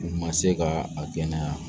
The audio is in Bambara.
U ma se ka a kɛnɛya